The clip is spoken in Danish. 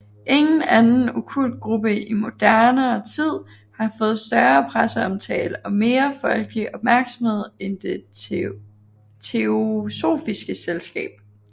Ingen anden okkult gruppe i moderne tid har fået større presseomtale og mere folkelig opmærksomhed end Det Teosofiske Selskab